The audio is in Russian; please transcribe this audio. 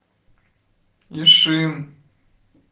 ишим